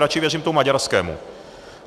Radši věřím tomu maďarskému.